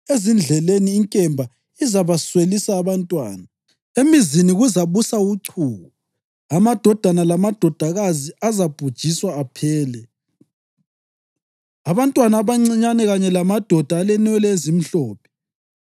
Ezindleleni inkemba izabaswelisa abantwana, emizini kuzabusa uchuku. Amadodana lamadodakazi azabhujiswa aphele, abantwana abancinyane kanye lamadoda alenwele ezimhlophe.